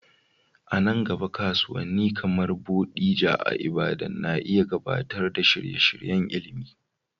A nan gaba, kasuwanni kamar Bodija a Ibadan na iya gabatar da shirye-shiryen ilimi.